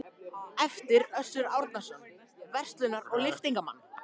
eftir Össur Árnason, verslunar- og lyftingamann.